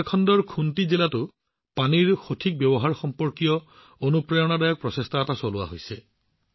ঝাৰখণ্ডৰ খুণ্টি জিলাতো পানীৰ দক্ষ ব্যৱহাৰৰ সৈতে সম্পৰ্কিত এক অনুপ্ৰেৰণাদায়ক প্ৰচেষ্টা হাতত লোৱা হৈছে